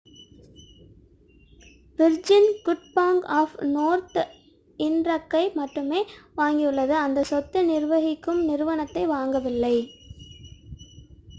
Virgin good bank of Northern ராக்கை மட்டுமே வாங்கியுள்ளது அந்த சொத்து நிர்வகிக்கும் நிறுவனத்தை வாங்கவில்லை